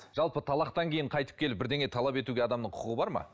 жалпы талақтан кейін қайтып келіп бірдеңе талап етуге адамның құқығы бар ма